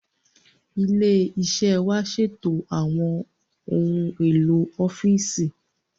Ilé iṣẹ́ wa ṣètò àwọn ohun èlò ọ́fíìsì